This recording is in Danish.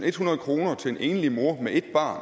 ethundrede kroner til en enlig mor med et barn